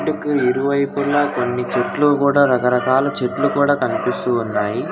ఇంటుకు ఇరువైపుల కొన్ని కూడా రకరకాల చెట్లు కూడా కనిపిస్తూ ఉన్నాయి.